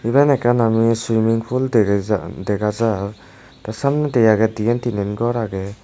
iban ekkan ami swimming pool dega jar dega jar te samnendi agey dian tinan gor agey.